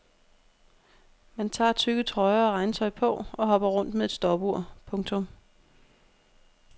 Man tager tykke trøjer og regntøj på og hopper rundt med et stopur. punktum